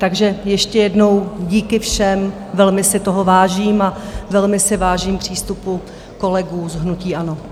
Takže ještě jednou díky všem, velmi si toho vážím a velmi si vážím přístupu kolegů z hnutí ANO.